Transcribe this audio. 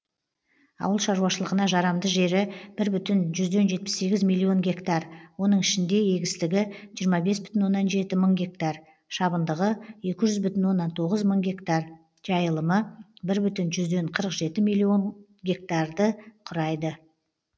ауыл шаруашылығына жарамды жері бір бүтін жүзден жетпіс сегіз миллион гектар оның ішінде егістігі жиырма бес бүтін оннан жеті мың гектар шабындығы екі жүз бүтін оннан тоғыз мың гектар жайылымы бір бүтін жүзден қырық жеті миллион гектарды құрайды